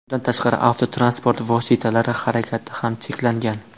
Bundan tashqari, transport vositalari harakati ham cheklangan.